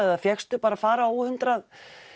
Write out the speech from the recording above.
eða fékkstu bara að fara óhindrað